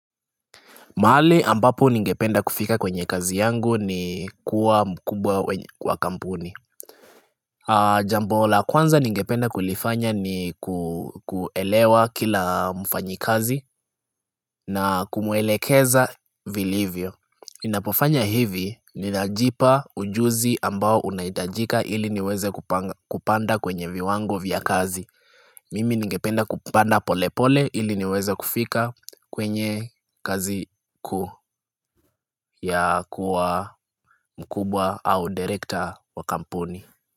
Mahali ambapo ningependa kufika kwenye kazi yangu ni kuwa mkubwa kwa kampuni Jambola kwanza ningependa kulifanya ni kuelewa kila mfanyi kazi na kumuelekeza vilivyo Inapofanya hivi ni najipa ujuzi ambao unaitajika ili niweze kupanda kwenye viwango vya kazi Mimi ningependa kupanda pole pole ili niweza kufika kwenye kazi ku ya kuwa mkubwa au director wakampuni.